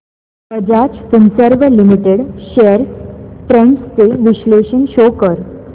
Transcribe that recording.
Bajaj Finserv limited shares trends चे विश्लेषण show कर